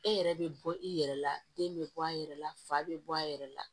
E yɛrɛ bɛ bɔ i yɛrɛ la den bɛ bɔ a yɛrɛ la fa bɛ bɔ a yɛrɛ la